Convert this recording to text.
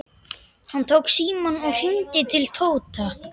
Hann tók símann og hringdi til Tóta.